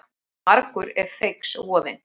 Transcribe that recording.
Margur er feigs voðinn.